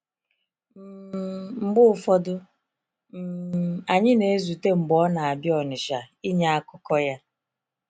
um Mgbe ụfọdụ, um anyị na-ezute mgbe ọ na-abịa Onitsha ịnye akụkọ ya.